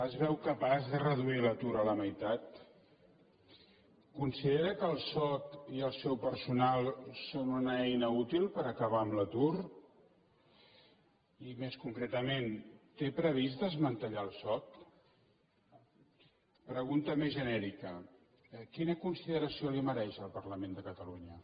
es veu capaç de reduir l’atur a la meitat considera que el soc i el seu personal són una eina útil per acabar amb l’atur i més concretament té previst desmantellar el soc pregunta més genèrica quina consideració li mereix el parlament de catalunya